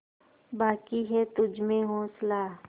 बाक़ी है तुझमें हौसला